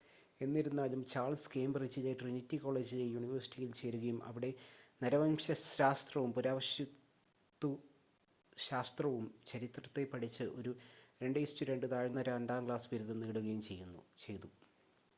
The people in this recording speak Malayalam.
എന്നിരുന്നാലും ചാൾസ് കേംബ്രിഡ്ജിലെ ട്രിനിറ്റി കോളേജിലെ യൂണിവേഴ്സിറ്റിയിൽ ചേരുകയും അവിടെ നരവംശശാസ്ത്രവും പുരാവസ്തുശാസ്ത്രവും ചരിത്രവും പഠിച്ച് ഒരു 2:2 താഴ്ന്ന രണ്ടാം ക്ലാസ് ബിരുദം നേടുകയും ചെയ്തു